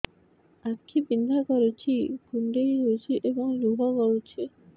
ଆଖି ବିନ୍ଧା କରୁଛି କୁଣ୍ଡେଇ ହେଉଛି ଏବଂ ଲୁହ ଗଳୁଛି